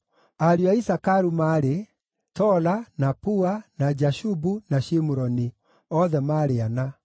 Ariũ a Isakaru maarĩ: Tola, na Pua, na Jashubu, na Shimuroni; othe maarĩ ana.